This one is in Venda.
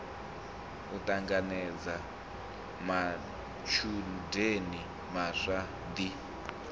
u ṱanganedza matshudeni maswa ḓi